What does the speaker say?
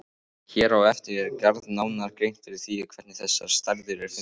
Hér á eftir er gerð nánari grein fyrir því hvernig þessar stærðir eru fundnar.